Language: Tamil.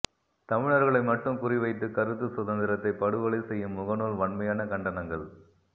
தமிழர்களை மட்டும் குறிவைத்து கருத்து சுதந்திரத்தை படுகொலை செய்யும் முகநூல் வன்மையான கண்டனங்கள்